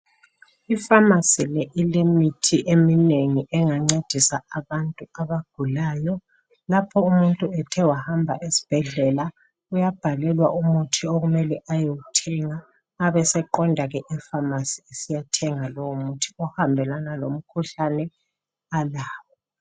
I"pharmacy" le ilemithi eminengi engancedisa abantu abagulayo .Lapho umuntu ethe wahamba esibhedlela uyabhalelwa umuthi okumele ayewuthenga abeseqonda ke e"pharmacy" esiyathenga lowo muthi ohambelana lomkhuhlane alawo.